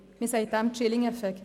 Man nennt dies «chilling effect».